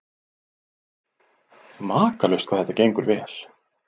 Makalaust hvað þetta gengur vel.